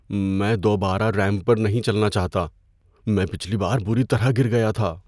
میں دوبارہ ریمپ پر چلنا نہیں چاہتا۔ میں پچھلی بار بری طرح گر گیا تھا۔